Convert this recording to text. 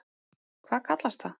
Hvað kallast það?